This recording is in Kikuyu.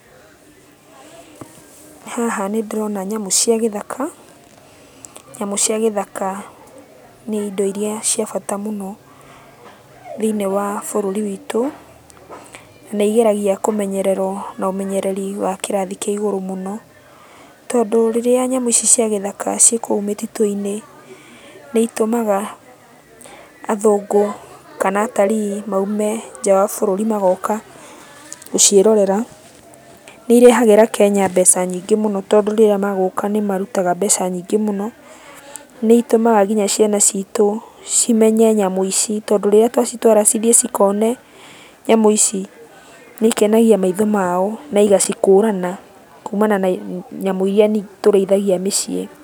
Haha nĩndĩrona nyamũ cia gĩthaka, nyamũ cia gĩthaka nĩ indo iria cia bata mũno, thĩiniĩ wa bũrũri witũ. Na nĩigeragia kũmenyererwo na ũmenyereri wa kĩrathi kĩa igũrũ mũno, tondũ rĩrĩa nyamũ ici cia gĩthaka ciĩ kũu mĩtitũ-inĩ, nĩitũmaga athũngũ kana atarii maume nja wa bũrũri magoka gũciĩrorera. Nĩirehagĩra Kenya mbeca nyingĩ mũno tondũ rĩrĩa magũka nĩmarutaga mbeca nyingĩ mũno. Nĩitũmaga kinya ciana citũ cimenye nyamũ ici, tondũ rĩrĩa twacitwara cithiĩ cikone nyamũ ici nĩikenagia maitho mao, na igacikũrana kumana na nyamũ iria tũrĩithagia mĩciĩ.